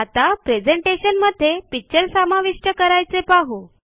आता मध्ये पिक्चर समाविष्ट करायचे पाहु